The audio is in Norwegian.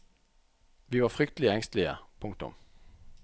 Vi var fryktelig engstelige. punktum